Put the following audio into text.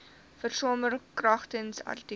versamel kragtens artikel